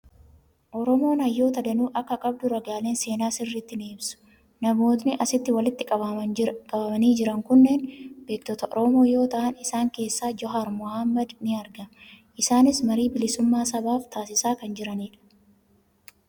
Oromoon hayyoota danuu akka qabdu ragaaleen seenaa sirriitti ni ibsu. Namootni asitti walitti qabamanii jiran kunneen beektota Oromoo yoo ta'an, isaan keessaa Johaar Mohaammed ni argama. Isaanis marii bilisummaa sabaaf taasisaa kan jiranidha.